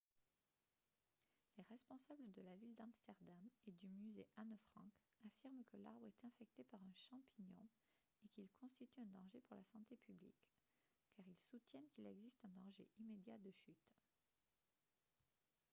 les responsables de la ville d'amsterdam et du musée anne frank affirment que l'arbre est infecté par un champignon et qu'il constitue un danger pour la santé publique car ils soutiennent qu'il existe un danger immédiat de chute